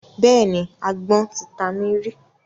Bẹ́ẹ̀ni, agbọ́n ti ta mí rí.